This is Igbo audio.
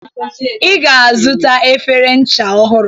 Ị ga-azụta efere ncha ọhụrụ.